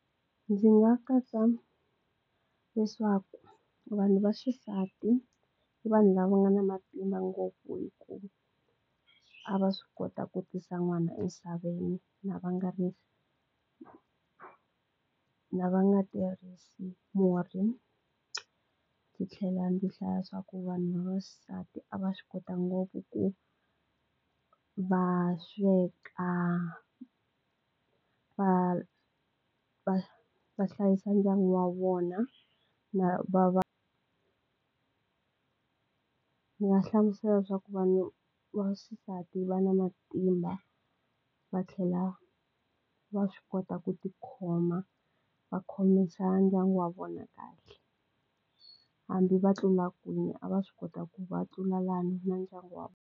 Ndzi nga katsa leswaku vanhu vaxisati i vanhu lava nga na matimba ngopfu hi ku a va swi kota ku tisa n'wana emisaveni na va nga ri na va nga tirhisi murhi ndzi tlhela ndzi hlaya swaku vanhu vaxisati a va swi kota ngopfu ku va sweka va va va hlayisa ndyangu wa vona na va va ndzi nga hlamusela leswaku vanhu vaxisati va na matimba va tlhela va swi kota ku tikhoma va khomisa ndyangu wa vona kahle hambi va tlula kwini a va swi kota ku va tlula lani na ndyangu wa.